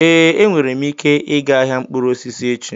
Ee, enwere m ike ịga ahịa mkpụrụ osisi echi.